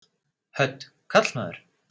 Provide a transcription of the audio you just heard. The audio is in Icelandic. Hödd: Karlmaður?